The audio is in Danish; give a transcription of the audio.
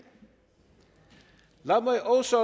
lad mig også